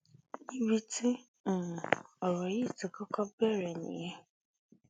níbi tí um ọ̀rọ̀ yìí ti kọ́kọ́ bẹ̀rẹ̀ nìyẹn